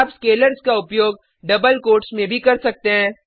आप स्केलर्स का उपयोग डबल कोट्स में भी कर सकते हैं